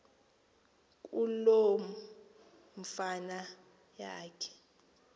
kuloo fama yakhe